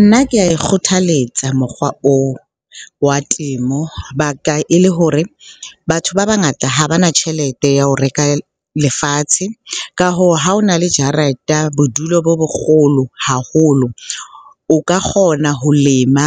Nna ke ae kgothalletsa mokgwa oo wa temo. Baka e le hore batho ba bangata ha ba na tjhelete ya ho reka lefatshe. Ka hoo, ha ho na le jareta, bodulo bo bokgolo haholo o ka kgona ho lema